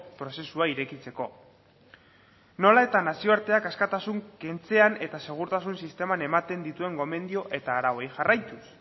prozesua irekitzeko nola eta nazioarteak askatasuna kentzean eta segurtasun sisteman ematen dituen gomendio eta arauei jarraituz